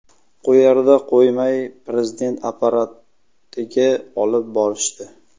Qo‘yarda qo‘ymay Prezident apparatiga olib borishdi.